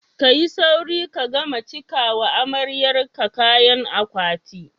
Ka yi sauri ka gama cika wa amaryar ka kayan akwati!